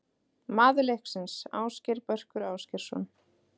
Maður leiksins: Ásgeir Börkur Ásgeirsson.